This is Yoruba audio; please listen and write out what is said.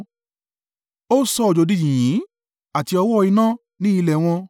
Ó sọ òjò di yìnyín, àti ọ̀wọ́-iná ní ilẹ̀ wọn;